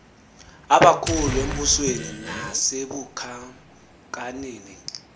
abakhulu embusweni nasebukamkanini